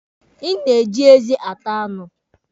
Ị na-eji eze ata anụ.